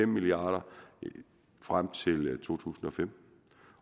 milliarder frem til to tusind